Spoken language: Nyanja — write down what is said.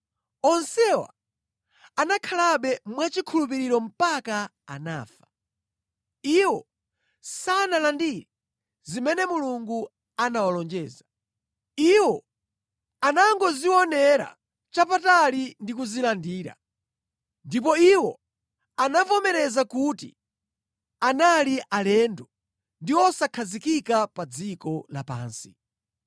Onsewa anakhalabe mwachikhulupiriro mpaka anafa. Iwo sanalandire zimene Mulungu anawalonjeza; iwo anangozionera chapatali ndi kuzilandira. Ndipo iwo anavomereza kuti analidi alendo ndi osakhazikika pa dziko lapansi.